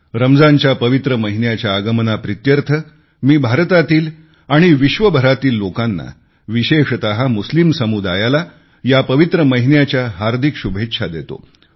रमजानच्या पवित्र महिन्याच्या आगमनाप्रित्यर्थ मी भारतातील व विश्वभरातील लोकांना विशेषत मुस्लिम समुदायाला या पवित्र महिन्याच्या हार्दिक शुभेच्छा देतो